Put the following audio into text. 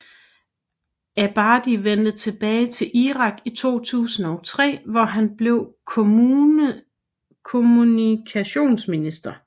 Abadi vendte tilbage til Irak i 2003 hvor han blev kommunikationsminister